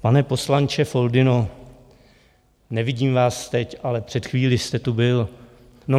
Pane poslanče Foldyno, nevidím vás teď, ale před chvílí jste tu byl.